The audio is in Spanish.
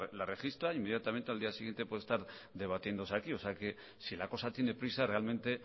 la registra e inmediatamente al día siguiente puede estar debatiéndose aquí o sea que si la cosa tiene prisa realmente